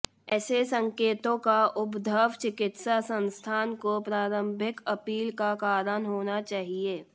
ऐसे संकेतों का उद्भव चिकित्सा संस्थान को प्रारंभिक अपील का कारण होना चाहिए